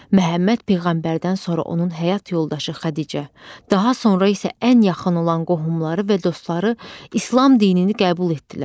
Məhəmməd peyğəmbərdən sonra onun həyat yoldaşı Xədicə, daha sonra isə ən yaxın olan qohumları və dostları İslam dinini qəbul etdilər.